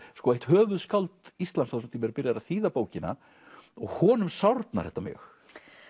eitt höfuðskáld Íslands á þessum tíma er byrjaður að þýða bókina og honum sárnar þetta mjög